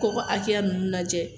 Ko ka akɛya nunnu lajɛ